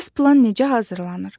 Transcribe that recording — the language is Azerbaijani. Bəs plan necə hazırlanır?